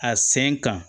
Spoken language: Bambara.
A sen kan